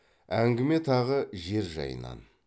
әңгіме тағы жер жайынан